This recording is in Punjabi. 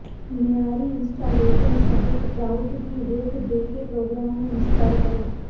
ਮਿਆਰੀ ਇੰਸਟਾਲੇਸ਼ਨ ਸਹਾਇਕ ਪ੍ਰਾਉਟ ਦੀ ਹੇਠ ਦੇ ਕੇ ਪ੍ਰੋਗਰਾਮ ਨੂੰ ਇੰਸਟਾਲ ਕਰੋ